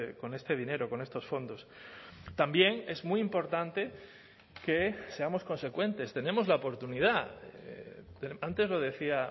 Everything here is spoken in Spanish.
con este dinero con estos fondos también es muy importante que seamos consecuentes tenemos la oportunidad antes lo decía